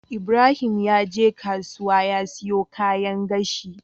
Ibrahim yaje kasuwa ya siyo kayan gashi